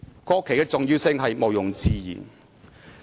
'"國旗的重要性毋庸置疑。